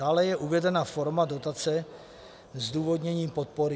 Dále je uvedena forma dotace se zdůvodněním podpory.